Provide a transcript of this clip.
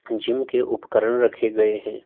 Gym के उपकरण रखे गए हैं।